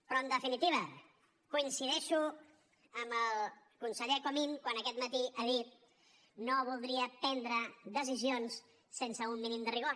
però en definitiva coincideixo amb el conseller comín quan aquest matí ha dit no voldria prendre decisions sense un mínim de rigor